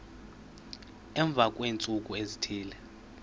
emva kweentsuku ezithile